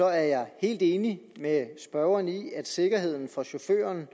er jeg helt enig med spørgeren i at sikkerheden for chauffører